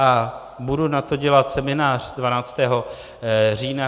A budu na to dělat seminář 12. října.